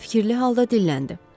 O fikirli halda dilləndi.